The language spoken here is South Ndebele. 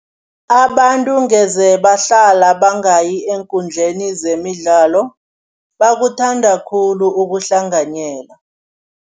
Abantu ngeze bahlala bangayi eenkundleni zemidlalo, bakuthanda khulu ukuhlanganyela.